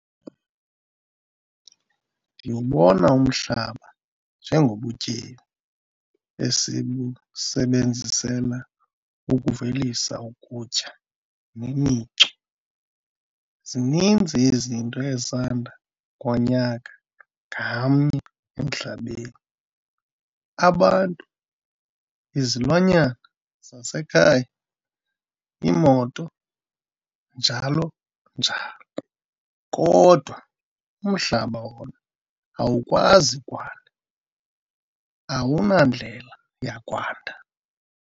Ndiwubona umhlaba njengobutyebi esibusebenzisela ukuvelisa ukutya nemicu. Zininzi izinto ezanda ngonyaka ngamnye emhlabeni - abantu, izilwanyana zasekhaya, iimoto njl. njl. Kodwa umhlaba wona awukwazi kwanda - awunandlela yakwanda.